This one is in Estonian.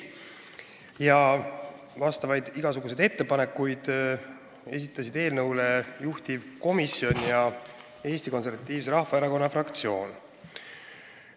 Eelnõu kohta esitasid igasuguseid ettepanekuid juhtivkomisjon ja Eesti Konservatiivse Rahvaerakonna fraktsioon.